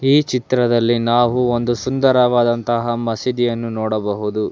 ಈ ಚಿತ್ರದಲ್ಲಿ ನಾವು ಒಂದು ಸುಂದರವಾದಂತಹ ಮಸೀದಿಯನ್ನು ನೋಡಬಹುದು.